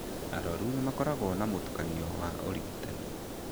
Arwaru nĩ makoragwo na mũtukanio wa ũrigitani.